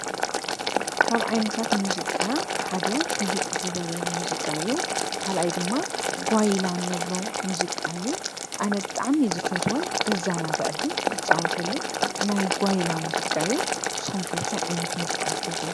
ካብ ዓይነታት ሙዚቃ ሓደ ህድእ ዝበለ ሙዚቃ እዩ ፤ካልኣይ ድማ ጓይላ እንብሎ ሙዚቃ እዩ ፤ኣነ ብጣዕሚ ዝፈትዎን ዝዘናግዓሉ ዝፃወተሉ ናይ ጓይላ ሙዚቃ እዩ ። ንስኹም ከ ታይ ዓይነት ሙዚቃ ትፈትዉ?